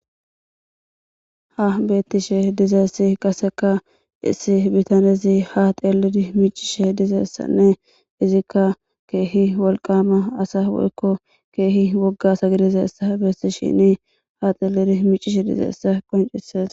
Ha betishe dizaysi qaseka issi bitanezi ha xelidi mic'ishe dizaysane izika kehi wolqama asa woyko kehi woga asa gidizaysa besishen ha xelidi mic'ishe dizaysa qonc'ses.